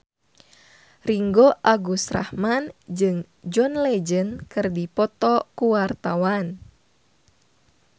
Ringgo Agus Rahman jeung John Legend keur dipoto ku wartawan